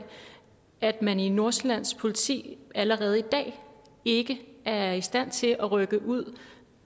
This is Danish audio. at man i nordsjællands politi allerede i dag ikke er i stand til at rykke ud